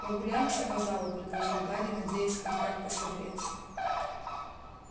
прогуляемся по залу предложил гарри надеясь хоть как-то согреться